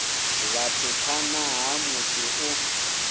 vhathu phanḓa ha musi u